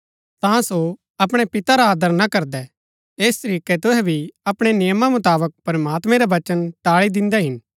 ता सो अपणै पिता रा आदर ना करदै ऐस तरीकै तुहै भी अपणै नियमा मुताबक प्रमात्मैं रा वचन टाळी दिन्दै हिन